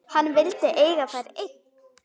Hann vildi eiga þær einn.